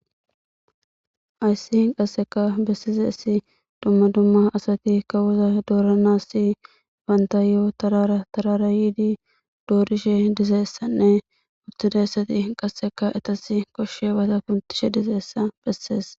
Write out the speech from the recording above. Haysse qassekka bessizayssi dumma dumma asati kawo dooranaasi bantayo tarara tarara yidi doorishe dizayissanne uttizayssati qasse etassi koshshiyabata kunththishe dizayissa bessees.